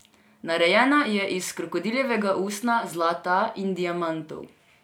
Narejena je iz krokodiljega usnja, zlata in diamantov.